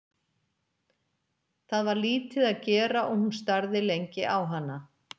Það var lítið að gera og hún starði lengi á hana.